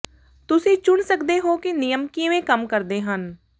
ਤੁਸੀਂ ਚੁਣ ਸਕਦੇ ਹੋ ਕਿ ਨਿਯਮ ਕਿਵੇਂ ਕੰਮ ਕਰਦੇ ਹਨ